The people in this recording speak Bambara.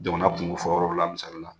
Jamana kungo fɔ yɔrɔ la misalila